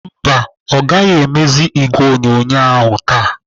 Mba, ọ ga-emezi igwe onyonyo ahụ taa.